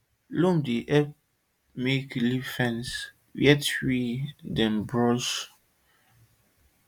loam dey help make living fence where tree dem or bush dem dey mark di boundary of land um